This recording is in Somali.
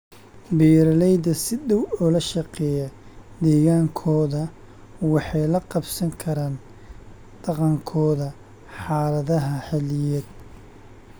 Beeralayda si dhow ula shaqeeya deegaankooda waxay la qabsan karaan dhaqankooda xaaladaha xilliyeed.